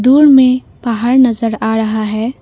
दूर में पहाड़ नजर आ रहा है।